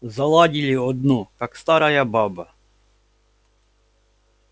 заладили одно как старая баба